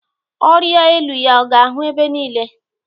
Ọrịa elu ya, ọ ga ahụ ebe niile.